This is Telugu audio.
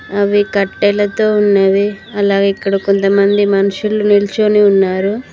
అవి కట్టెలతో ఉన్నవి అలా ఇక్కడ కొంతమంది మనుషులు నిల్చోని ఉన్నారు